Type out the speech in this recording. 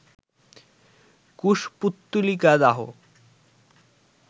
কুশপুত্তলিকা দাহ